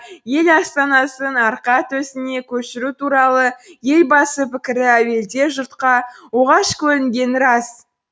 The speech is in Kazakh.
ел астанасын арқа төсіне көшіру туралы елбасы пікірі әуелде жұртқа оғаш көрінгені рас